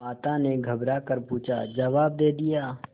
माता ने घबरा कर पूछाजवाब दे दिया